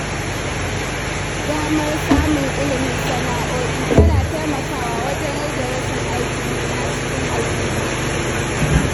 Damar samun ilimin sana’o’i tana taimakawa wajen rage rashin aikin yi a cikin al'umma.